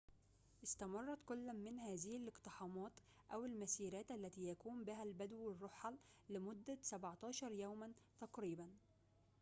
استمرت كل من هذه الاقتحامات أو المسيرات التي يقوم بها البدو الرُحل لمدة 17 يومًا تقريبًا